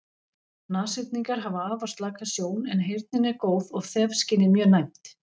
Nashyrningar hafa afar slaka sjón en heyrnin er góð og þefskynið mjög næmt.